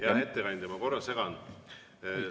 Hea ettekandja, ma korra segan.